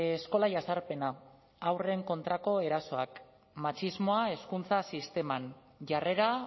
eskola jazarpena haurren kontrako erasoak matxismoa hezkuntza sisteman jarrera